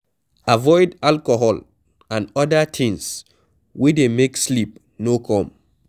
Avoid alcohol and oda things wey dey make sleep no come